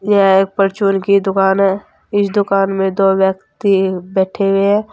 यह एक फार्चून की दुकान है इस दुकान में दो व्यक्ति बैठें हुए हैं।